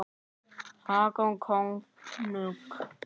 Hákon konung.